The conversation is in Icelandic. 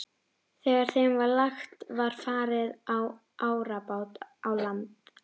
Þegar þeim var lagt var farið á árabát í land.